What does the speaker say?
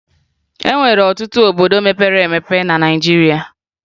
E nwere ọtụtụ obodo mepere emepe na Naịjirịa